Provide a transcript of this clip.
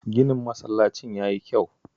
Ginin masallacin ya yi kyau